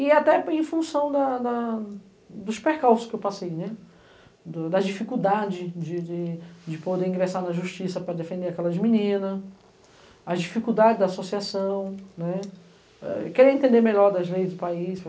e até em função dos percalços que eu passei, das dificuldades de poder ingressar na justiça para defender aquelas meninas, as dificuldades da associação, querer entender melhor as leis do país.